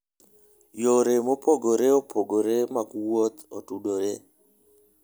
Yore mopogore opogore mag wuoth otudore.